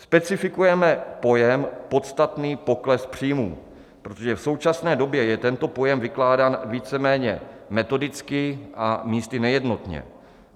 Specifikujeme pojem podstatný pokles příjmu, protože v současné době je tento pojem vykládán víceméně metodicky a místy nejednotně.